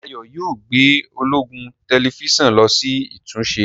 Dayo yíò gbé ọlọgbọn Tẹlifíṣàn ló sì ìtúnṣe.